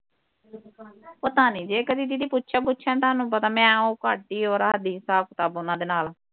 ਪਤਾ ਨਹੀ ਜੇ ਕਦੀ ਦੀਦੀ ਪੁੱਛਿਆ ਪੁੱਛਿਆ ਤੁਹਾਨੂੰ ਪਤਾ ਹੀ ਉਹ ਘੱਟ ਹੀ ਉਹ ਰੱਖਦੀ ਹਿਸਾਬ ਕਿਤਾਬ ਉਹਨਾਂ ਦੇ ਨਾਲ